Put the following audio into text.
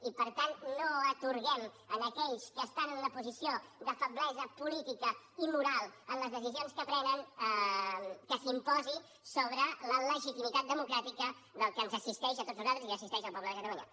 i per tant no atorguem a aquells que estan en una posició de feblesa política i moral en les decisions que prenen que s’imposin sobre la legitimitat democràtica del que ens assisteix a tots nosaltres i que assisteix al poble de catalunya